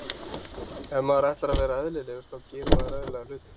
Ef maður ætlar að vera eðlilegur þá gerir maður eðlilega hluti.